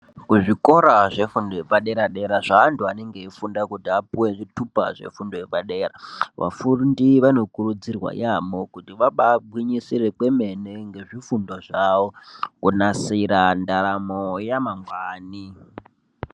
Kuzvikora zvefundo epadera dera zvaantu anenge eifunda kuti apuwe zvitupa zvefundo yepadera vafundi vanokurudzirwa yaamho kuti vabaagwinyisire kwemene ngezvifundo zvawo kunadire ndaramo yamangwani.